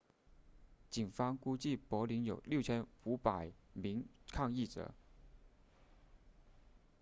警方估计柏林有 6,500 名抗议者